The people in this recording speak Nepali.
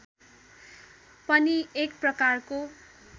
पनि एक प्रकारको